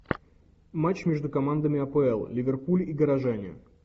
матч между командами апл ливерпуль и горожане